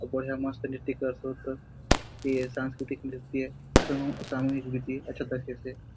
बढ़िया मस्त नृत्य करसोत ए सांस्कृति नृत्य समूह सामूहिक नृत्य अच्छा दखेसे।